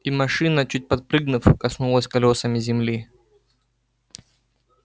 и машина чуть подпрыгнув коснулась колёсами земли